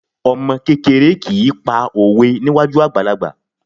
Ọmọ kékeré kì í pa òwe níwájú àgbàlagbà